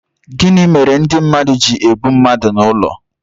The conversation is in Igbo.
Gịnị mere ndị mmadụ ji egbu mmadụ n'ụlọ